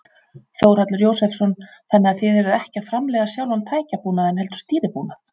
Þórhallur Jósefsson: Þannig að þið eruð ekki að framleiða sjálfan tækjabúnaðinn heldur stýribúnað?